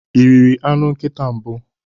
Ị riri anụ nkịta mbụ?